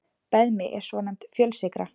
Beðmi er svonefnd fjölsykra.